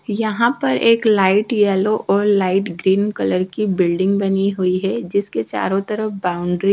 यहां पर एक लाइट येलो और लाइट ग्रीन कलर की बिल्डिंग बनी हुईं है जिसके चारो तरफ बाउंड्री --